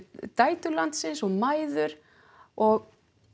dætur landsins mæður og